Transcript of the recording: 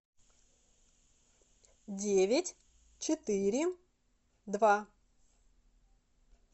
девять четыре два